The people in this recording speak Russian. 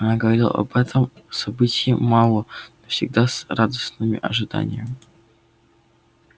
она говорила об этом событии мало но всегда с радостным ожиданием